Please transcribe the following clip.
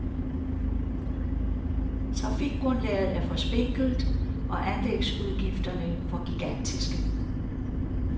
Trafikgrundlaget er for spinkelt og anlægsudgifterne for gigantiske.